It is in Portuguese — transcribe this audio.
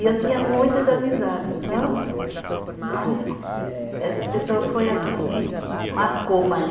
E eu tinha muitas amizades, então, mas essa pessoa foi assim que marcou mais.